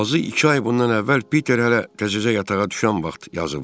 Azı iki ay bundan əvvəl Piter hələ təzəcə yatağa düşən vaxt yazıblar.